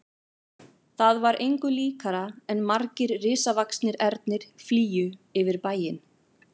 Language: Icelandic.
Það var engu líkara en margir risavaxnir ernir flygju yfir bæinn.